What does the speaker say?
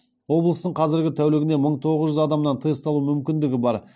облыстың қазір тәулігіне мың тоғыз жүз адамнан тест алу мүмкіндігі бар